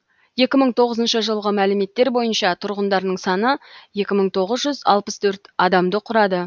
екі мың тоғызыншы жылғы мәліметтер бойынша тұрғындарының саны екі мың тоғыз жүз алпыс төрт адамды құрады